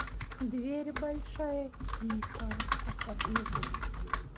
двери большая тихо отворилась